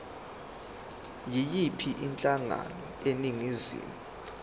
yiyiphi inhlangano eningizimu